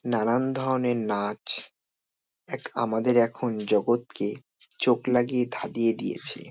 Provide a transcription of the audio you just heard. নানান ধরণের নাচ এক আমাদের এখন জগৎকে চোখ লাগিয়ে ধাঁদিয়ে দিয়েছে ।